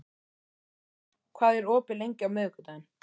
Bogdís, hvað er opið lengi á miðvikudaginn?